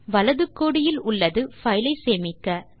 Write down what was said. வலது கோடியில் உள்ளது பைல் ஐ சேமிக்க